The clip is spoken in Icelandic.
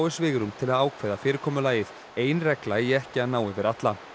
svigrúm til að ákveða fyrirkomulagið ein regla eigi ekki að ná yfir alla